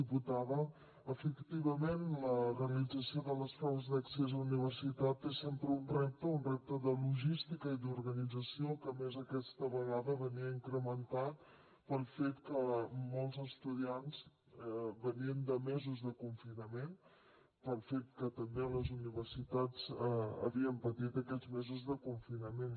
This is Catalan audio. diputada efectivament la realització de les proves d’accés a la universitat és sempre un repte un repte de logística i d’organització que a més aquesta vegada venia incrementat pel fet que molts estudiants venien de mesos de confinament pel fet que també les universitats havien patit aquests mesos de confinament